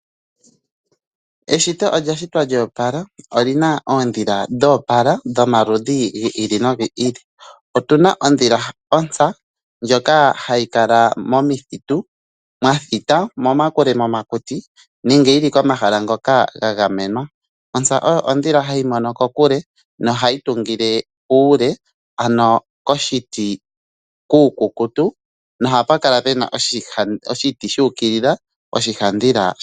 Eshito olya shitwa lyo opala. Oli na oondhila dho opala dhomaludhi gi ili nogi ili. Otu na ondhila yontsa ndjoka hayi kala momithitu mwathita momakuti nenge yi li komahala ngoka ga gamenwa. Ontsa oyo ondhila ndjoka hayi mono kokule nohayi tungile kuule, ano koshiti oshikukutu nohaku kala ku na oshiti shu ukilila.